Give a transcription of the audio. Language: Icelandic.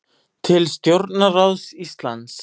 Til stjórnarráðs Íslands